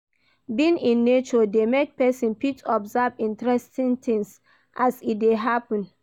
Being in nature de make persin fit observe interesting things as e de happen